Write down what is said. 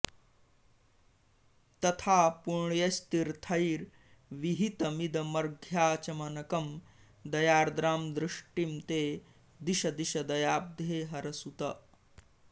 तथा पुण्यैस्तीर्थैर्विहितमिदमर्घ्याचमनकं दयार्द्रां दृष्टिं मे दिश दिश दयाब्धे हरसुत